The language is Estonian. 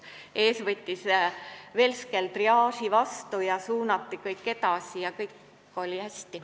Ees tegi velsker triaaži, suunati patsient edasi ja kõik oli hästi.